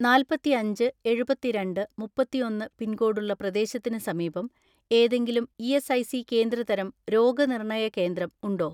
നാല്പത്തിഅഞ്ച് എഴുപത്തിരണ്ട് മുപ്പത്തിഒന്ന് പിൻകോഡുള്ള പ്രദേശത്തിന് സമീപം ഏതെങ്കിലും ഇ.എസ്.ഐ.സികേന്ദ്ര തരം രോഗനിർണയ കേന്ദ്രം ഉണ്ടോ?